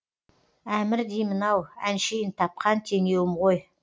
әмір деймін ау әншейін тапқан теңеуім ғой